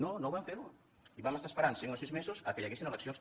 no no ho vam fer i vam estar esperant cinc o sis mesos que hi haguessin eleccions